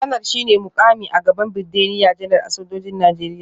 Kanar shi ne mukami a gaban Birgediya Janar a sojojin Najeriya